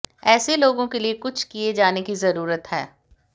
ऐसे लोगों के लिए कुछ किए जाने की ज़रूरत है